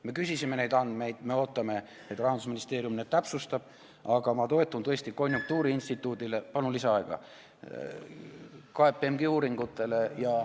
Me küsisime neid andmeid, me ootame, et Rahandusministeerium need täpsustab, aga ma toetun tõesti konjunktuuriinstituudile ja KPMG uuringutele.